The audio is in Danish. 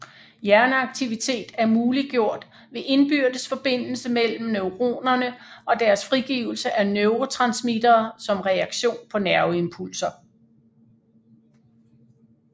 Hjerneaktivitet er muliggjort ved indbyrdes forbindelse mellem neuronerne og deres frigivelse af neurotransmittere som reaktion på nerveimpulser